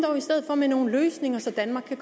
med nogle løsninger så danmark